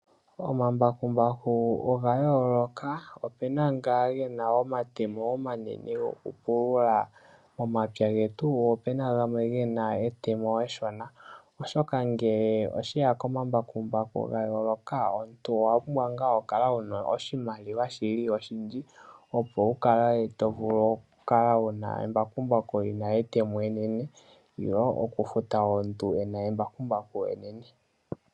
Omambakumbaku oga yooloka ope na nga ge na omatemo omanene gokupulula omapya getu, po opena gamwe ge na etemo eshona oshoka ngele osheya komambakumbaku gayooloka omuntu owa pumbwa ngaa okukala wu na oshimaliwa shili oshindji opo wu kale to vulu okukala wu na embakumbaku lina etemo enene nenge okufuta omuntu e na embakumbaku enene.